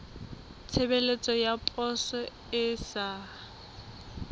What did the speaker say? tshebeletso ya poso e sa